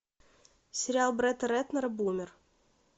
сериал бретта рэтнера бумер